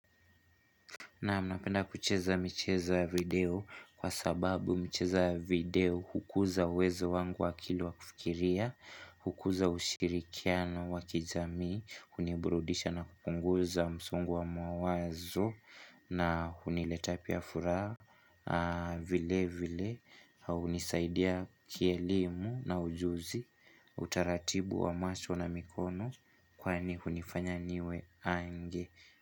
Naam napenda kucheza michezo ya video kwa sababu michezo ya video hukuza uwezo wangu wa akili wa kufikiria, hukuza ushirikiano wa kijamii, uniburudisha na kupunguza msongo wa mawazo na uniletea pia furaha vile vile na hunisaidia kielimu na ujuzi utaratibu wa macho na mikono kwani hunifanya niwe ange.